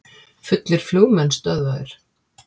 Fullir flugmenn stöðvaðir